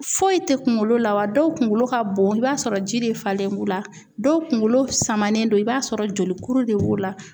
Foyi tɛ kunkolo la wa dɔw kunkolo ka bon i b'a sɔrɔ ji de falen b'u la dɔw kunkolo samanen don i b'a sɔrɔ jolikuru de b'u la.